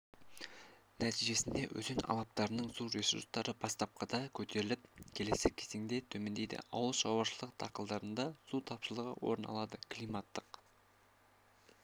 нәтижесінде өзен алаптарының су ресурстары бастапқыда көтеріліп келесі кезеңдерде төмендейді ауылшаруашылық дақылдарында су тапшылығы орын алады климаттық